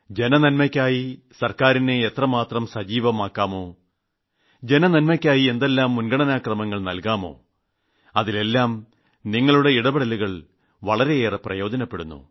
ജനനന്മയ്ക്കായി സർക്കാരിനെ എത്രമാത്രം സജീവമാക്കാമോ ജനനന്മയ്ക്കായി എന്തെല്ലാം മുൻഗണനക്രമങ്ങൾ നൽകാമോ അതിലെല്ലാം നിങ്ങളുടെ ഇടപെടലുകൾ വളെരയേറെ പ്രയോജനപ്പെടുന്നു